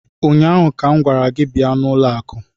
ụnyaahụ ka m gwara gị bịa n'ụlọ akụ!